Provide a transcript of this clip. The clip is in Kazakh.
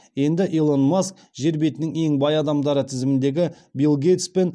енді илон маск жер бетінің ең бай адамдары тізіміндегі билл гейтс пен